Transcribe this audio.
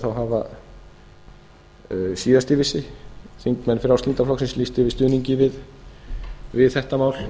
hafa síðast þegar ég vissi þingmenn frjálslynda flokksins lýst yfir stuðningi við þetta mál